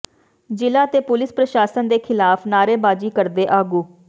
ਜ਼ਿਲ੍ਹਾ ਤੇ ਪੁਲੀਸ ਪ੍ਰਸ਼ਾਸਨ ਦੇ ਖਿਲਾਫ ਨਾਅਰੇਬਾਜ਼ੀ ਕਰਦੇ ਆਗੂ